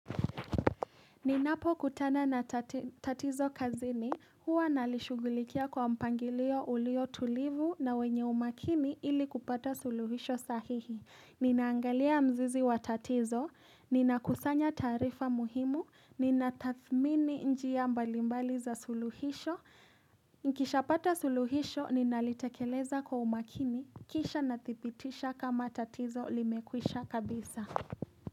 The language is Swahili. Ninapo kutana na tatizo kazini, huwa nalishughulikia kwa mpangilio ulio tulivu na wenye umakini ili kupata suluhisho sahihi. Ninaangalia mzizi wa tatizo, ninakusanya taarifa muhimu, ninatadhmini njia mbalimbali za suluhisho. Nikishapata suluhisho, ninalitekeleza kwa umakimi, kisha nadhibitisha kama tatizo limekwisha kabisa.